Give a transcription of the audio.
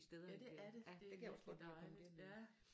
Ja det er det det er virkelig dejligt